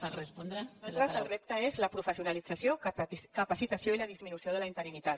per nosaltres el nostre repte és la professionalització capacitació i la disminució de la interinitat